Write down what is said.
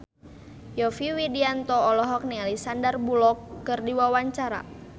Yovie Widianto olohok ningali Sandar Bullock keur diwawancara